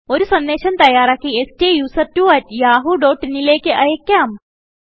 ഒരു സന്ദേശം തയ്യാറാക്കി സ്റ്റുസെർട്ട്വോ അട്ട് യാഹൂ ഡോട്ട് ഇൻ ലേക്ക് അയക്കാം